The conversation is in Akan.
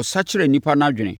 ɔsakyera nnipa no adwene.